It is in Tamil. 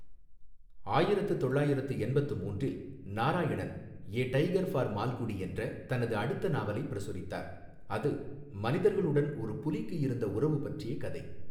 ஆயிரத்து தொள்ளாயிரத்து எண்பத்து மூன்றில் Narayanan 'a tiger for Malgudi' என்ற தனது அடுத்த நாவலை பிரசுரித்தார், அது மனிதர்களுடன் ஒரு புலிக்கு இருந்த உறவு பற்றிய கதை.